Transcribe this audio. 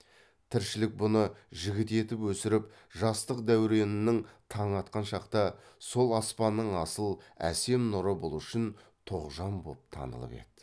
тіршілік бұны жігіт етіп өсіріп жастық дәуренінің таңы атқан шақта сол аспанның асыл әсем нұры бұл үшін тоғжан боп танылып еді